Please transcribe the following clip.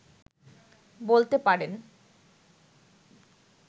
বলতে পারেন